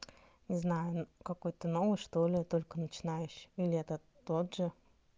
не знаю какой-то новый что-ли я только начинающий или это тот же